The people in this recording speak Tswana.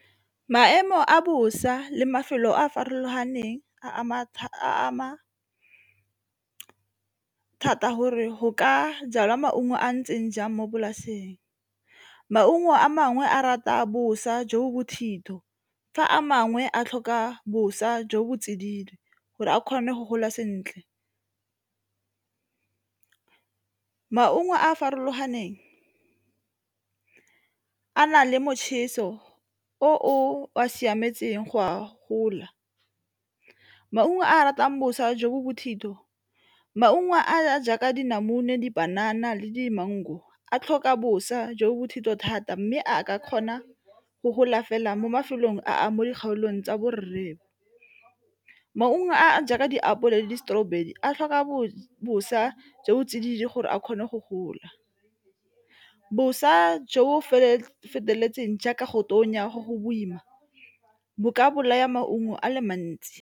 Maemo a bosa le mafelo a a farologaneng a a thata gore g ka jalwa maungo a ntseng jang mo polaseng, maungo a mangwe a rata a bosa jo bothitho fa a mangwe a tlhoka boswa jo bo tse dingwe gore a kgone go gola sentle. Maungo a a farologaneng a nang le motjheso o a siametseng go a gola. Maungo a a ratang boswa jo bo bothitho, maungo a a jaaka dinamune, dipanana le di-mango a tlhoka boswa jo bothito thata mme a ka kgona go gola fela mo mafelong a mo dikgaolong tsa borethe. Maungo a jaaka diapole le di-strawberry a tlhoka boswa boswa jo tsididi gore a kgone go gola boswa jo feteletseng jaaka go tonya go go boima bo ka bolaya maungo a le mantsi.